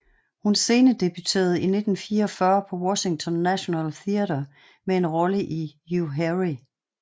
Hun scenedebuterede i 1944 på Washington National Theatre med en rolle i U Harry